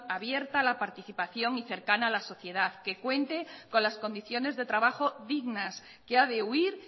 abierta a la participación y cercana a la sociedad que cuente con las condiciones de trabajo dignas que ha de huir